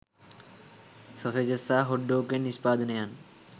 sausages සහ hot dog වැනි නිෂ්පාදනයන්